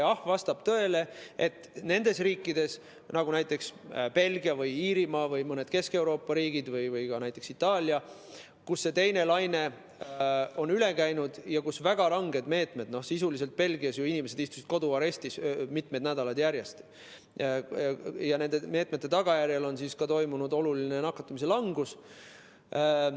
Jah, vastab tõele, et nendes riikides, näiteks Belgias, Iirimaal või mõnes Kesk-Euroopa riigis, ka näiteks Itaalias, kust teine laine on üle käinud ja kus olid väga ranged meetmed , on nende meetmete tagajärjel toimunud oluline nakatumise langus.